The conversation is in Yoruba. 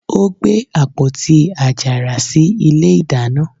ó gbé àpótí àjàrà sí ilé ìdáná.